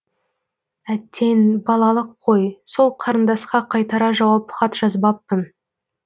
әттең балалық қой сол қарындасқа қайтара жауап хат жазбаппын